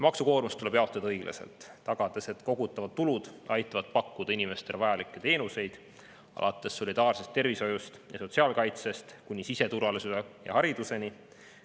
Maksukoormus tuleb jaotada õiglaselt, tagades, et kogutavad tulud aitavad pakkuda inimestele vajalikke teenuseid, alates solidaarsest tervishoiust ja sotsiaalkaitsest kuni siseturvalisuse ja hariduseni.